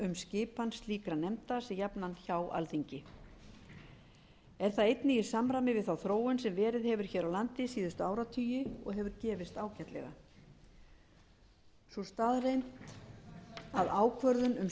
skipan slíkra nefnda sé jafnan hjá alþingi er það einnig í samræmi við þá þróun sem verið hefur hér á landi síðustu áratugi og hefur gefist ágætlega sú staðreynd að ákvörðun um